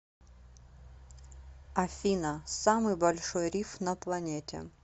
афина самый большой риф на планете